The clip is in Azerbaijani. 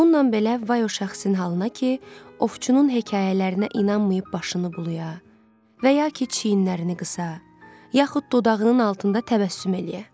Bununla belə, vay o şəxsin halına ki, ovçunun hekayələrinə inanmayıb başını bulaya, və yaxud ki çiyinlərini qısa, yaxud dodağının altında təbəssüm eləyə.